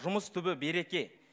жұмыс түбі береке